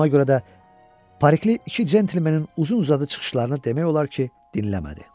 Ona görə də Parikli iki gentlmenin uzun-uzadı çıxışlarını demək olar ki, dinləmədi.